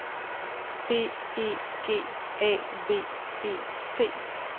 B E G A V E T